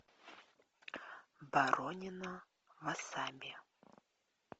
боронина васаби